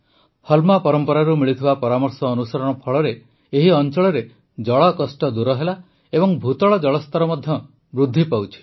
ହଲ୍ମା ପରମ୍ପରାରୁ ମିଳୁଥିବା ପରାମର୍ଶ ଅନୁସରଣ ଫଳରେ ଏହି ଅଂଚଳରେ ଜଳକଷ୍ଟ ଦୂର ହେଲା ଏବଂ ଭୂତଳ ଜଳସ୍ତର ମଧ୍ୟ ବୃଦ୍ଧି ପାଉଛି